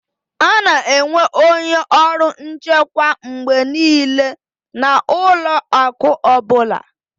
A na-enwe onye ọrụ nchekwa mgbe niile na ụlọ akụ ọ bụla